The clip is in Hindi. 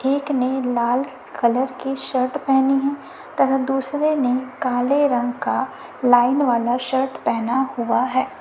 एक ने लाल कलर की शर्ट पहनी है तरह दूसरे ने काले रंग का लाइन वाला शर्ट पहना हुआ है।